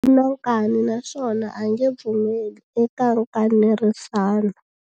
U na nkani naswona a nge pfumeli eka nkanerisano.